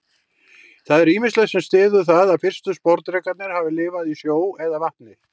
Það er ýmislegt sem styður það að fyrstu sporðdrekarnir hafi lifað í sjó eða vatni.